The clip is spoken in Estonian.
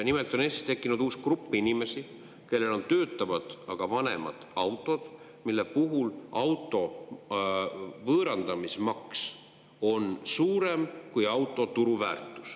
Nimelt on tekkinud Eestis uus grupp inimesi, kellel on töötavad, aga vanemad autod, mille puhul auto võõrandamise maks on suurem kui auto turuväärtus.